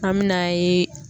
An mɛ na ye